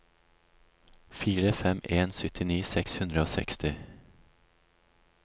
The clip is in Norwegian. fire fem fem en syttini seks hundre og seksti